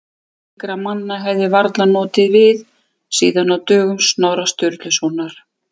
Slíkra manna hefði varla notið við síðan á dögum Snorra Sturlusonar.